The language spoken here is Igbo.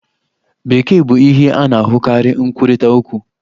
Bekee bụ ihe a na-ahụkarị nkwurịta okwu.